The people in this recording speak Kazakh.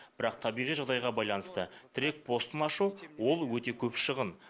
бірақ табиғи жағдайға байланысты тірек постын ашу ол өте көп шығын